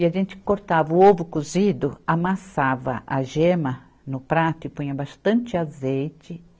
E a gente cortava o ovo cozido, amassava a gema no prato e punha bastante azeite.